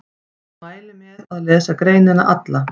Ég mæli með að lesa greinina alla.